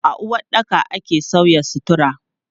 A uwaɗɗaka ake sauya sutura.